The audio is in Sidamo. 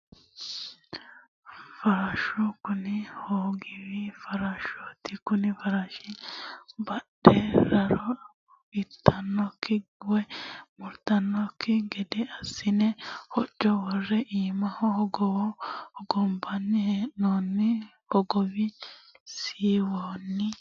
Farshu kuni hogowi farashoti koni farashira badhe raro itanosikki woyi murmurtanosikki gede assine hoco wore iimaho hogowo hogombanni hee'nonni hogowi siiwonni.